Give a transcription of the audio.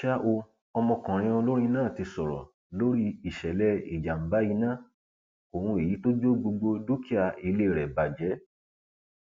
ṣá o ọmọkùnrin olórin náà ti sọrọ lórí ìṣẹlẹ ìjàmbá iná ohun èyí tó jó gbogbo dúkìá ilé rẹ bàjẹ